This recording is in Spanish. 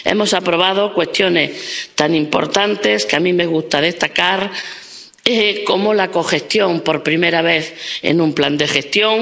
Hemos aprobado cuestiones tan importantes —que a mí me gusta destacar— como la cogestión por primera vez en un plan de gestión.